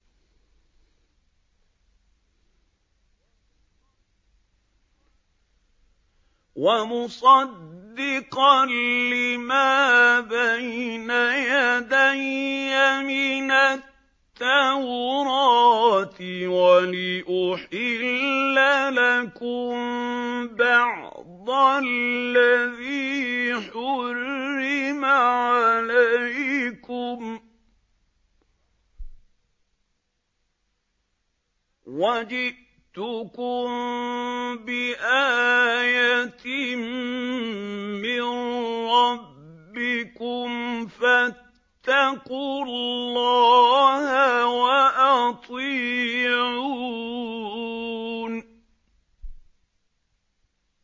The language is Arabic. وَمُصَدِّقًا لِّمَا بَيْنَ يَدَيَّ مِنَ التَّوْرَاةِ وَلِأُحِلَّ لَكُم بَعْضَ الَّذِي حُرِّمَ عَلَيْكُمْ ۚ وَجِئْتُكُم بِآيَةٍ مِّن رَّبِّكُمْ فَاتَّقُوا اللَّهَ وَأَطِيعُونِ